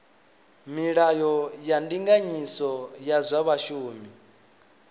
milayo ya ndinganyiso ya zwa vhashumi